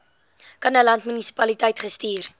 kannaland munisipaliteit gestuur